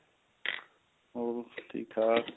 ਹੋਰ ਠੀਕ ਠਾਕ